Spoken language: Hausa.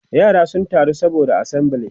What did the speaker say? yara sun taru saboda assembly